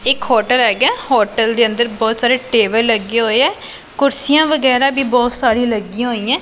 ਇੱਕ ਹੋਟਲ ਹੈਗਾ ਹੋਟਲ ਦੇ ਅੰਦਰ ਬਹੁਤ ਸਾਰੇ ਟੇਬਲ ਲੱਗੇ ਹੋਏ ਹੈ ਕੁਰਸੀਆਂ ਵਗੈਰਾ ਵੀ ਬਹੁਤ ਸਾਰੀ ਲੱਗੀਆਂ ਹੋਈਆਂ।